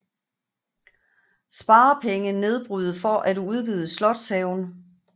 Sparepenge nedbryde for at udvide slotshaven